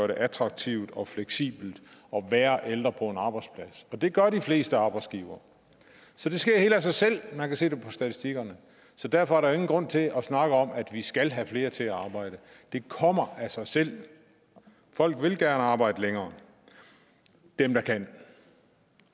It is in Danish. det attraktivt og fleksibelt at være ældre på en arbejdsplads og det gør de fleste arbejdsgivere så det sker helt af sig selv man kan se det på statistikkerne så derfor er der jo ingen grund til at snakke om at vi skal have flere til at arbejde det kommer af sig selv folk vil gerne arbejde længere dem der kan